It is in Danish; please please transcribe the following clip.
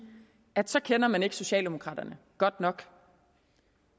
at så kender man ikke socialdemokraterne godt nok